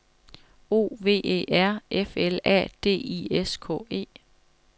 O V E R F L A D I S K E